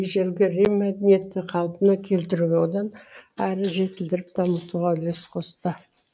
ежелгі рим мәдениетін қалпына келтіруге одан әрі жетілдіріп дамытуға үлес қосты